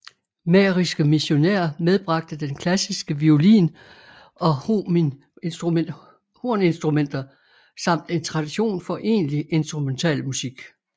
Mähriske missionærer medbragte den klassiske violin og horninstrumenter samt en tradition for egentlig instrumentalmusik